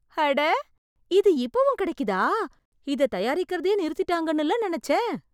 அட! இது இப்பவும் கிடைக்குதா? இதத் தயாரிக்கறதையே நிறுத்திட்டாங்கன்னு இல்ல நெனச்சேன்!